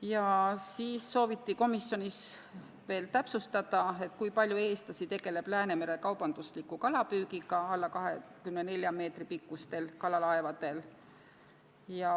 Komisjonis sooviti veel täpsustada, kui palju eestlasi tegeleb Läänemerel kaubandusliku kalapüügiga alla 24 meetri pikkustel kalalaevadel.